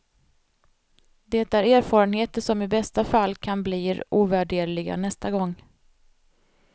Det är erfarenheter som i bästa fall kan blir ovärderliga nästa gång.